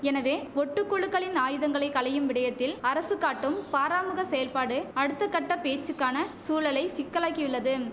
எனவே ஒட்டு குழுக்களின் ஆயுதங்களை களையும் விடயத்தில் அரசு காட்டும் பாராமுக செயல்பாடு அடுத்த கட்ட பேச்சுக்கான சூழலை சிக்கலாக்கியுள்ளதும்